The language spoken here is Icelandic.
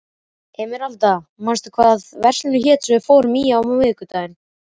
Emeralda, manstu hvað verslunin hét sem við fórum í á miðvikudaginn?